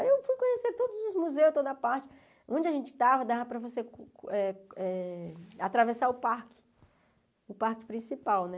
Aí eu fui conhecer todos os museus, toda a parte, onde a gente estava, dava para você eh eh atravessar o parque, o parque principal, né?